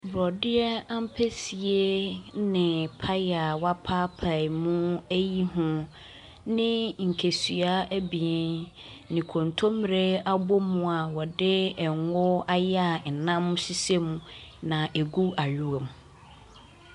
Borɔdeɛ ampesie ne paya a wɔapaepaemu ayiyi ho ne nkesua abien ne kontommire abom a wɔde ngo ayɛ a nam hyehyɛ mu na egu ayowa mu.